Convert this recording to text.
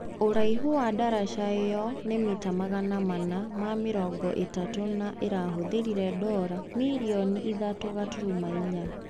Uraihu wa daraca iyo ni mita magana mana na mĩrongo itatũ na irahuthirire dora mirioni ithatũ gaturuma inya.